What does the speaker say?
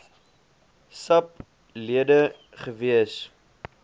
sap lede gewees